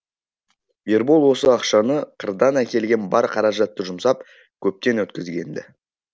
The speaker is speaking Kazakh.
ербол осы ақшаны қырдан әкелген бар қаражатты жұмсап көптен өткізген ді